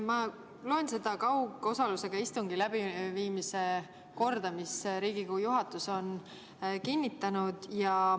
Ma loen seda kaugosalusega istungi läbiviimise korda, mille Riigikogu juhatus on kinnitanud.